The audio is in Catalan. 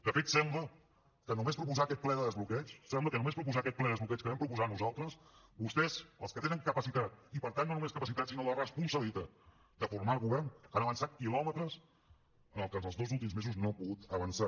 de fet sembla que només proposar aquest ple de desbloqueig que vam proposar nosaltres vostès els que tenen capacitat i per tant no només capacitat sinó la responsabilitat de formar govern han avançat quilòmetres en el que en els dos últims mesos no ha pogut avançar